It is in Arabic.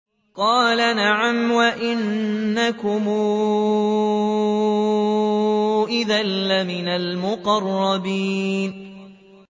قَالَ نَعَمْ وَإِنَّكُمْ إِذًا لَّمِنَ الْمُقَرَّبِينَ